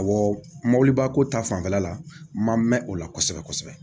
Awɔ mɔbiliba ko ta fanfɛla la n ma mɛn o la kosɛbɛ kosɛbɛ